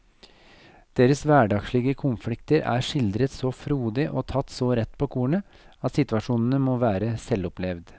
Deres hverdagslige konflikter er skildret så frodig og tatt så rett på kornet at situasjonene må være selvopplevd.